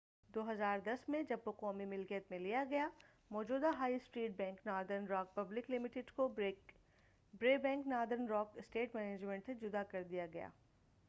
2010ء میں جب وہ قومی ملکیت میں لیا گیا موجودہ high street bank Northern Rock public limited کو ”برے bank Northern Rock asset management سے جدا کر دیا گیا۔